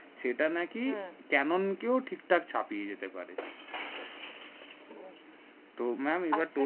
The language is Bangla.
সেটা না ক্যানেন কে ঠিক ঠাক ছাপিয়ে যেতে পারে তো ম্যাম এবার